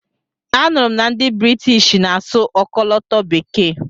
A nụrụ m na ndị Britishi na-asụ ọkọlọtọ bekee.